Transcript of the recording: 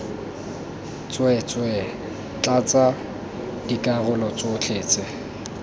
tsweetswee tlatsa dikarolo tsotlhe tse